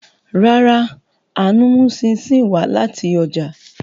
Rárá, Aanu mu chin chin wa lati oja